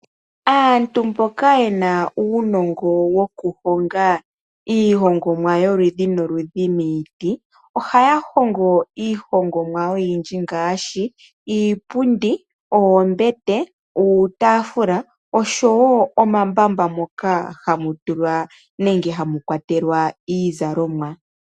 Aantu mboka yena uunongo wokuhonga iihongomwa yoludhi noludhi miiti ohaya hongo iihongomwa oyindji ngaashi iipundi, oombete, uutaafula osho wo omambamba moka hamu tulwa nenge hamu kwatelwa iizalomwa.